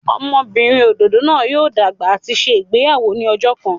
Ọmọbinrin ododo naa yoo dagba ati ṣe igbeyawo ni ọjọ kan.